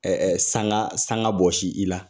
Ɛɛ sanga sanga bɔsi i la